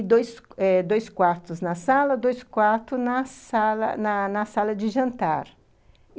E dois eh dois quartos na sala, dois quartos na sala de na sala de jantar.